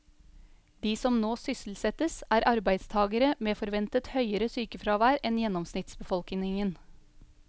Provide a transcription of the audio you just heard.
De som nå sysselsettes, er arbeidstagere med forventet høyere sykefravær enn gjennomsnittsbefolkningen.